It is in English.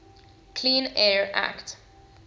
clean air act